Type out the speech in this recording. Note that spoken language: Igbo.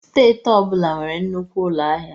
Steeti ọ bụla nwere nnukwu ụlọ ahịa.